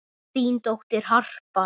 Þín dóttir, Harpa.